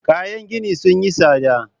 Kayan gini sun yi tsada.